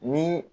Ni